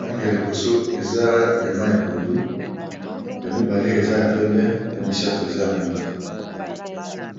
langi ya liboso eza ya ma ya pondu ya mibale eza ya pembe ya misato eza ya mwindo.